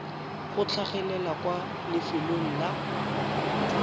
go tlhagelela kwa lefelong la